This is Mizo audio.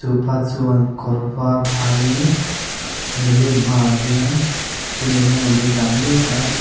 chupa chuan kawr var ha in a milim hmaah hian thil engemawni a dah mek a chua--